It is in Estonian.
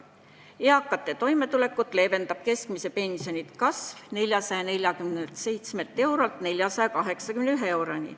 Eakate toimetulekut kergendab keskmise pensioni kasv 447 eurolt 481 euroni.